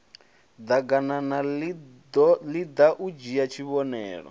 ḓaganana iḓa u dzhie tshivhonelo